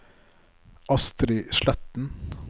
Astri Sletten